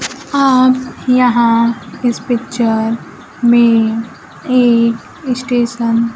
आप यहां इस पिक्चर में एक स्टेशन --